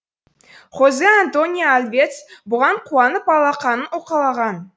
хозе антонио альвец бұған қуанып алақанын уқалаған